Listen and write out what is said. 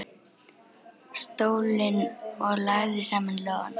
stólinn og lagði saman lófana.